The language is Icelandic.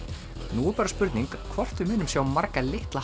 nú er bara spurning hvort við munum sjá marga litla